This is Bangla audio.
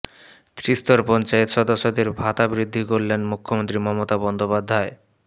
ত্রিস্তর পঞ্চায়েত সদস্যদের ভাতা বৃদ্ধি করলেন মুখ্যমন্ত্রী মমতা বন্দ্যোপাধ্যায়